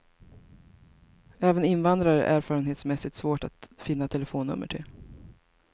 Även invandrare är erfarenhetsmässigt svåra att finna telefonnummer till.